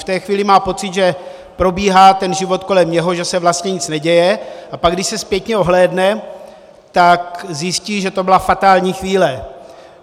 V té chvíli má pocit, že probíhá ten život kolem něj, že se vlastně nic neděje, a pak, když se zpětně ohlédne, tak zjistí, že to byla fatální chvíle.